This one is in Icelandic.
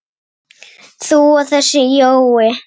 þú og þessi Jói?